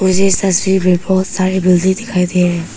मुझे इस तस्वीर मे बहोत सारी बिल्डिंग दिखाई दे रही--